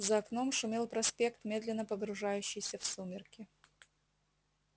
за окном шумел проспект медленно погружающийся в сумерки